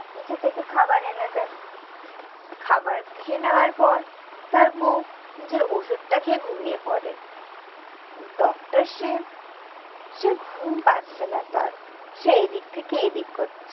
নিচে থেকে খাবার এনে দেয়। খাবার খেয়ে নেওয়ার পর তার বউ নিজের ওষুধটা খেয়ে ঘুমিয়ে পড়ে। ডক্টর শিব সে ঘুম পাচ্ছে না তার। সে এইদিক থেকে এইদিক করে।